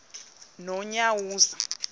nonyawoza